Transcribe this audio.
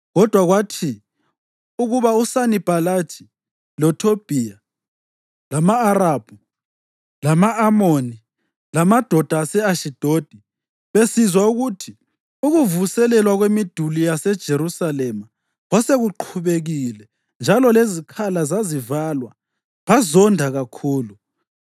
Kodwa kwathi ukuba uSanibhalathi, loThobhiya, lama-Arabhu, lama-Amoni lamadoda ase-Ashidodi besizwa ukuthi ukuvuselelwa kwemiduli yaseJerusalema kwasekuqhubekile njalo lezikhala zazivalwa bazonda kakhulu.